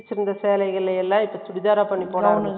first வச்சிருந்த சேலைகளை எல்லாம், இப்ப பண்ணிட்டிருக்காங்க